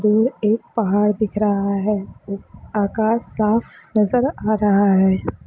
दूर एक पहाड़ दिख रहा है आकाश साफ नज़र आ रहा है।